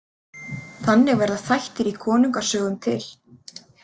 Þannig verða þættir í konungasögum til.